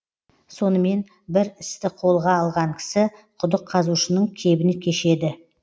сонымен бір істі қолға алған кісі құдық қазушының кебін кешеді